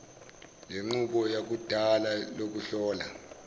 lenqubo yakudala lokuhlola